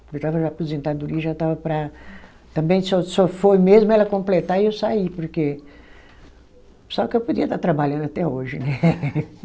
Eu estava na aposentadoria, já estava para, também só só foi mesmo ela completar e eu saí, porque. Só que eu podia estar trabalhando até hoje, né?